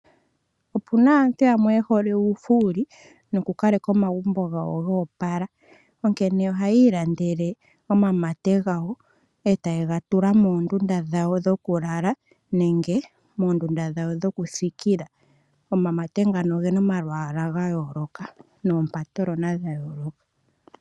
Opuna aantu yamwe yehole uufuuli noku kaleka omagumbo gawo goopala, onkene ohayii landele omamate gawo etaye ga tula moondunda dhawo dhoku lala nenge moondunda dhawo dhoku thikila. Omamate ngano ogena omalwaala ga yooloka noompatolona dha yooloka.